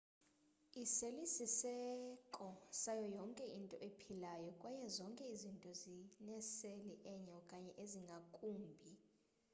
iseli sisiseko sayo yonke into ephilayo kwaye zonke izinto zineseli enye okanye ezingakumbi